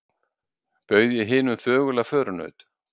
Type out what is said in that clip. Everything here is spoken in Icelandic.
Bauð ég hinum þögula förunaut